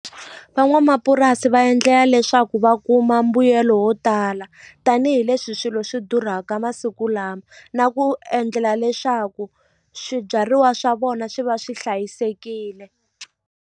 Van'wamapurasi va endlela leswaku va kuma mbuyelo wo tala tanihileswi swilo swi durhaka masiku lama na ku endlela leswaku swibyariwa swa vona swi va swi hlayisekile.